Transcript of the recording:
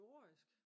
kirurgisk